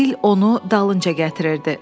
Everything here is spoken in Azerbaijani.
Bil onu dalınca gətirirdi.